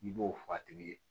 N'i b'o fɔ a tigi ye